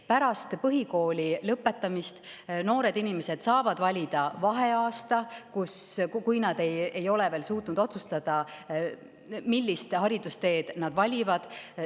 Pärast põhikooli lõpetamist saavad noored inimesed valida vaheaasta, kui nad ei ole veel suutnud otsustada, millise haridustee nad valivad.